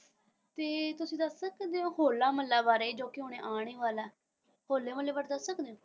ਤੇ ਤੁਸੀਂ ਦੱਸ ਸਕਦੇ ਹੋ ਹੌਲ਼ਾ ਮੁਹੱਲਾ ਬਾਰੇ ਜੋ ਕਿ ਹੁਣੇ ਆਉਣ ਜੀ ਵਾਲਾ ਹੋਲੇ ਮੁਹੱਲੇ ਬਾਰੇ ਦੱਸ ਸਕਦੇ ਹੋ?